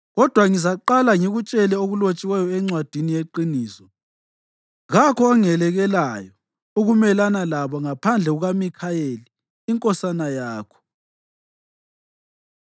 kodwa ngizaqala ngikutshele okulotshiweyo eNcwadini yeQiniso. (Kakho ongelekelelayo ukumelana labo ngaphandle kukaMikhayeli inkosana yakho.